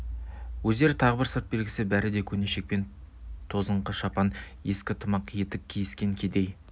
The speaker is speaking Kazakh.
өздерінің тағы бір сырт белгісі бәрі де көне шекпен тозыңқы шапан ескі тымақ етік киіскен кедей